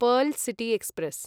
pearl city express